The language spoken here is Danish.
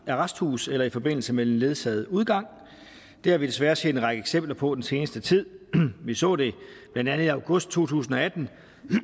arresthus eller i forbindelse med ledsaget udgang det har vi desværre set en række eksempler på den seneste tid vi så det blandt andet i august to tusind og atten